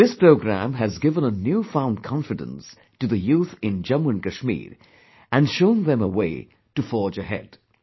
This program has given a new found confidence to the youth in Jammu and Kashmir, and shown them a way to forge ahead